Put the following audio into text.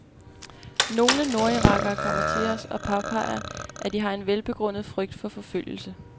Nogle nordirakere kommer til os og påpeger, at de har en velbegrundet frygt for forfølgelse.